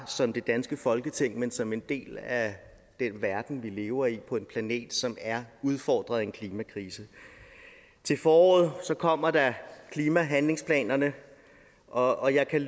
som det danske folketing men som en del af den verden vi lever i på en planet som er udfordret af en klimakrise til foråret kommer der klimahandlingsplanerne og jeg kan